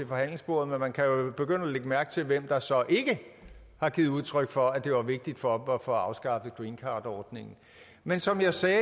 forhandlingsbordet men man kan jo begynde at lægge mærke til hvem der så ikke har givet udtryk for at det var vigtigt for dem at få afskaffet greencardordningen men som jeg sagde